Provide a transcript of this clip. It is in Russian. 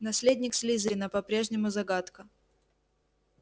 наследник слизерина по-прежнему загадка